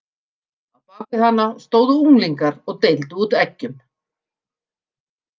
Á bak við hana stóðu unglingar og deildu út eggjum.